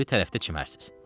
O biri tərəfdə çimərsiniz.